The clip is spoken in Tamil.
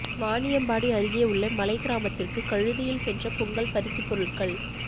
வாணியம்பாடி அருகே உள்ள மலைகிராமத்திற்கு கழுதையில் சென்ற பொங்கல் பரிசு பொருட்கள்